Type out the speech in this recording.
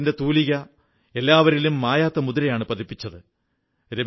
അദ്ദേഹത്തിന്റെ തൂലിക എല്ലാവരിലും മായാത്ത മുദ്രയാണു പതിപ്പിച്ചത്